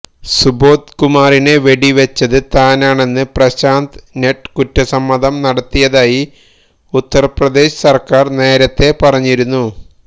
സുബോധ് കുമാറിനെ വെടിവച്ചത് താനാണെന്ന് പ്രശാന്ത് നട്ട് കുറ്റസമ്മതം നടത്തിയതായി ഉത്തര്പ്രദേശ് സര്ക്കാര് നേരത്തേ പറഞ്ഞിരുന്നു